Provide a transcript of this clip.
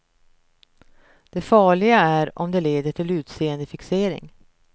Det farliga är om det leder till utseendefixering.